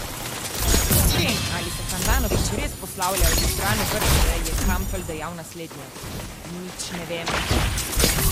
O tem, ali se Handanović res poslavlja od izbrane vrste, je Kampl dejal naslednje: "Nič ne vem.